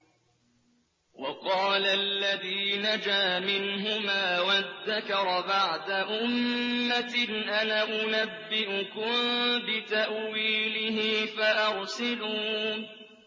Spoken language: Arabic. وَقَالَ الَّذِي نَجَا مِنْهُمَا وَادَّكَرَ بَعْدَ أُمَّةٍ أَنَا أُنَبِّئُكُم بِتَأْوِيلِهِ فَأَرْسِلُونِ